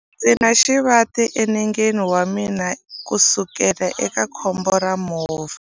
Ndzi na xivati enengeni wa mina kusukela eka khombo ra movha.